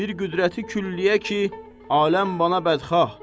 Bir qüdrəti külliyə ki, aləm bana bədxah.